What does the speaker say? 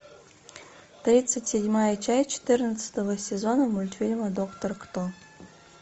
тридцать седьмая часть четырнадцатого сезона мультфильма доктор кто